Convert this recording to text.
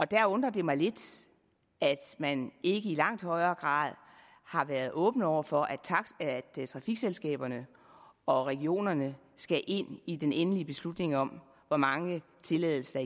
der undrer det mig lidt at man ikke i langt højere grad har været åbne over for at trafikselskaberne og regionerne skal ind i den endelige beslutning om hvor mange tilladelser